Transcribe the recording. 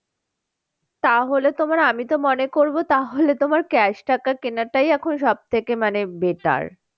তাহলে তোমার আমি তো মনে করবো তাহলে তোমার cash টাকা কেনাটাই এখন সব থেকে মানে better